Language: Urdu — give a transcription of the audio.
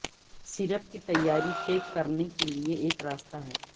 سیرپ کی تیاری چیک کرنے کے لئے ایک راستہ ہے